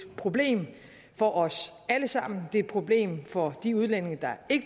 problem for os alle sammen det er et problem for de udlændinge der